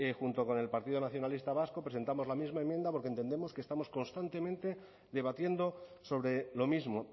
junto con el partido nacionalista vasco presentamos la misma enmienda porque entendemos que estamos constantemente debatiendo sobre lo mismo